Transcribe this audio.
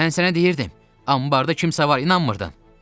Mən sənə deyirdim, ambarda kimsə var, inanmırdın.